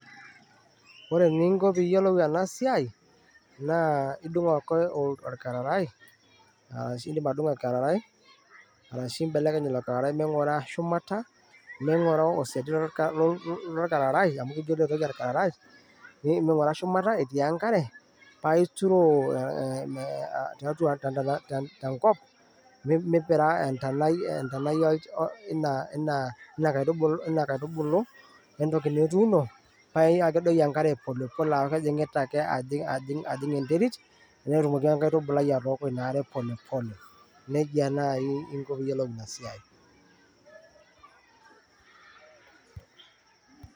ore eninko teniyioolu ena siai naa idung ake orkarrarai aahu indim atudung enkararai ashu imbelekeny enkararai mingura shumata, etii enkare paa ituroo tenkop mipira entanai ina ina kaitubului entooki nituuno paa kedoyio enkare polepole aku kejingita ake , ajing ajing